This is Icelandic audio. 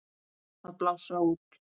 Að blása út.